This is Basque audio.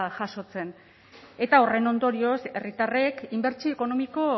jasotzen eta horren ondorioz herritarrek inbertsio ekonomiko